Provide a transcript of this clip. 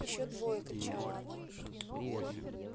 ещё двое кричала она